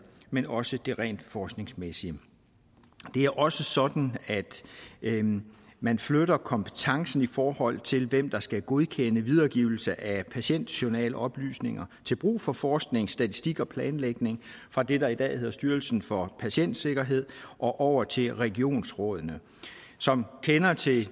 men også det rent forskningsmæssige det er også sådan at man flytter kompetencen i forhold til hvem der skal godkende videregivelse af patientjournaloplysninger til brug for forskning statistik og planlægning fra det der i dag hedder styrelsen for patientsikkerhed og over til regionsrådene som kender til